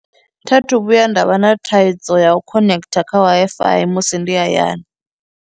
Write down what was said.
Tha thu vhuya nda vha na thaidzo ya u connecter kha W_I_F_I musi ndi hayani.